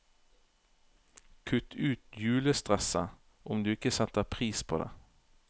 Kutt ut julestresset, om du ikke setter pris på det.